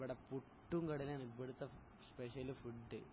നാസ്ഥക്ക് ഇവിടെ പുട്ടും കടലയുമാണ് ഇവിടുത്ത സ്പെഷ്യല് ഫുഡ്